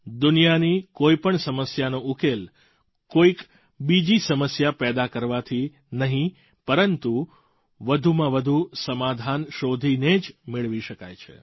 દુનિયાની કોઈ પણ સમસ્યાનો ઉકેલ કોઈક બીજી સમસ્યા પેદા કરવાથી નહીં પરંતુ વધુમાં વધુ સમાધાન શોધીને જ મેળવી શકાય છે